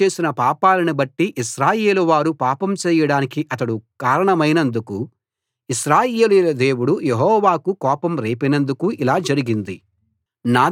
యరొబాము చేసిన పాపాలను బట్టి ఇశ్రాయేలువారు పాపం చేయడానికి అతడు కారణమైనందుకు ఇశ్రాయేలీయుల దేవుడు యెహోవాకు కోపం రేపినందుకు ఇలా జరిగింది